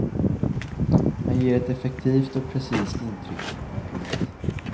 Han ger ett effektivt och precist intryck. punkt